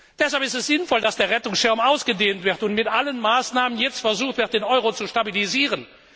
Deshalb ist es sinnvoll, dass der Rettungsschirm ausgedehnt wird und mit allen Maßnahmen jetzt versucht wird, den Euro zu stabilisieren.